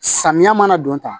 Samiya mana don tan